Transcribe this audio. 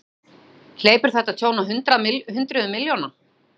Björn: Hleypur þetta tjón á hundruðum milljóna?